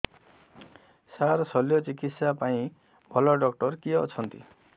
ସାର ଶଲ୍ୟଚିକିତ୍ସା ପାଇଁ ଭଲ ଡକ୍ଟର କିଏ ଅଛନ୍ତି